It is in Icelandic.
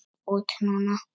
Út núna?